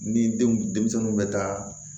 Ni denw denmisɛnninw bɛ taa